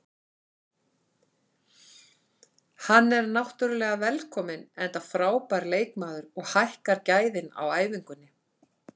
Hann er náttúrulega velkominn enda frábær leikmaður og hækkar gæðin á æfingunni.